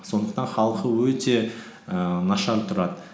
сондықтан халқы өте ііі нашар тұрады